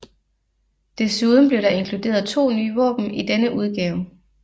Desuden blev der inkluderet to nye våben i denne udgave